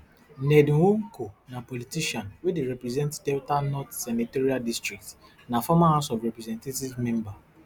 ned nwoko na politician wey dey represent delta north senatorial district na former house of representatives member